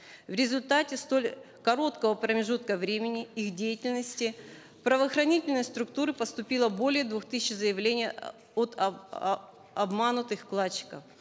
в результате столь короткого промежутка времени их деятельности в правоохранительные структуры поступило более двух тысяч заявлений от обманутых вкладчиков